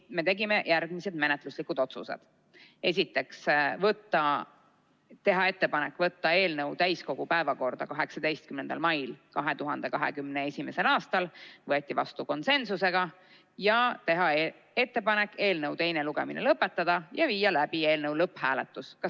Me tegime järgmised menetluslikud otsused: teha ettepanek võtta eelnõu täiskogu päevakorda 18. maiks 2021. aastal ning teha ettepanek eelnõu teine lugemine lõpetada ja viia läbi eelnõu lõpphääletus .